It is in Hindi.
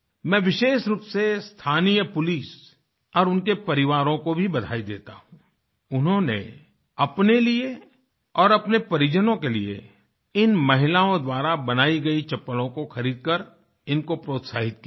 मैं विशेष रूप से स्थानीय पुलिस और उनके परिवारों को भी बधाई देता हूँ उन्होंने अपने लिए और अपने परिजनों के लिए इन महिलाओं द्वारा बनाई गई चप्पलों को खरीदकर इनको प्रोत्साहित किया है